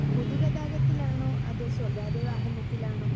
speaker 2 പൊതു ഗതാഗത്തിലാണോ അതോ സ്വകാര്യ വാഹനത്തിലാണോ